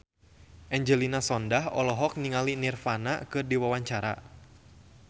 Angelina Sondakh olohok ningali Nirvana keur diwawancara